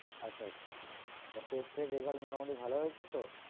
আচ্ছা আচ্ছা তা test এর result মোটামোটি ভালো হয়েছে তো?